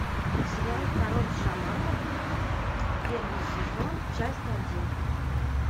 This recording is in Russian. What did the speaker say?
сериал король шаманов первый сезон часть один